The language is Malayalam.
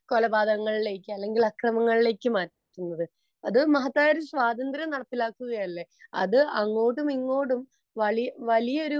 കൊലപാതകങ്ങളിലേക്ക് അല്ലെങ്കിൽ അക്രമങ്ങളിലേക്ക് നയിക്കുന്നത് . അത് മഹത്തായ ഒരു സ്വാതന്ത്ര്യം നടപ്പിലാക്കുകയല്ലേ അത് അങ്ങോട്ടും ഇങ്ങോട്ടും വലിയൊരു